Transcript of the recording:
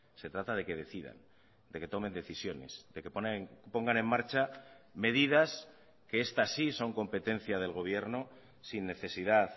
se trata de que decidan de que tomen decisiones de que pongan en marcha medidas que estas sí son competencia del gobierno sin necesidad